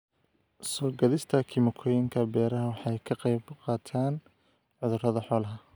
Soo-gaadhista kiimikooyinka beeraha waxay ka qaybqaataan cudurrada xoolaha.